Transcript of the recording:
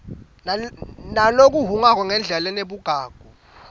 ngalokuhhungako nangendlela lenebugagu